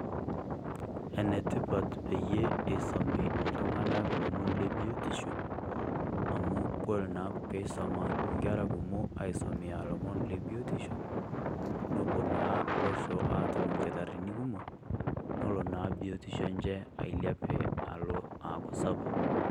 Enetipaat peyie eisomi ltung'anak lomon le biutisho amu kore naa pee asoma nkerra kumok aisomia lomon le biutisho nepoo naa loosho atum ilkitarini kumok nolo naa biutisho enchee aileape alo aaku sapuk.